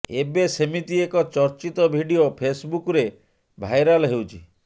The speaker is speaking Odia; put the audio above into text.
ଏବେ ସେମିତି ଏକ ଚର୍ଚ୍ଚିତ ଭିଡିଓ ଫେସ୍ବୁକ୍ରେ ଭାଇରାଲ୍ ହେଉଛି